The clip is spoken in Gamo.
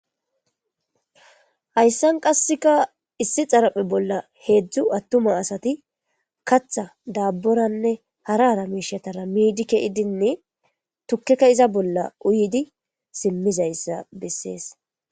Hayssan qasseka issi xaraphe bolla heedzdzu attuma asati katha daabboranne harara meishatara miidike idinne tukkeka iza bolla uyidi simmizayssa bessees.